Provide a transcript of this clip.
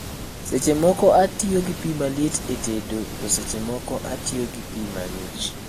Seche moko atiyo gi pii maliet e tedo to seche moko atiyo gi pii mang'ich